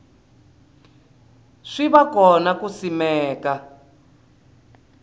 swi va kona ku simeka